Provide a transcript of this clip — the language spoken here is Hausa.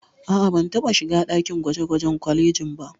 A'a, ban taɓa shiga ɗakin gwaje-gwajen kwalejin ba.